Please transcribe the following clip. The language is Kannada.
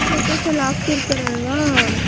photos ಎಲ್ಲಾ ಅಕ್ತಿರ್ತರ್ ಅಲ್ವ .